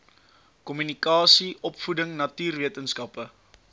kommunikasie opvoeding natuurwetenskappe